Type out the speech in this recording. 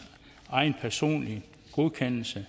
egen personlige godkendelse